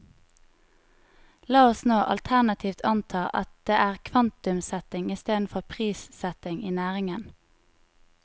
La oss nå alternativt anta at det er kvantumssetting i stedet for prissetting i næringen.